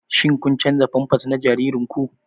Shin kun canza pampers na jaririnku?